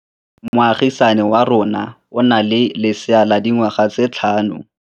Moagisane wa rona o na le lesea la dikgwedi tse tlhano.